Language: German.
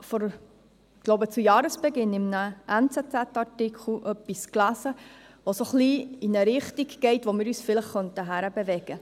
Ich glaube, ich habe zu Jahresbeginn in einem Artikel in der «Neue Zürcher Zeitung (NZZ)» etwas gelesen, das in eine Richtung geht, in welche wir uns vielleicht hinbewegen könnten.